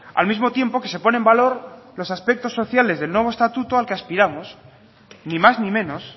al mismo tiempo que se pone en valor los aspectos sociales del nuevo estatuto al que aspiramos ni más ni menos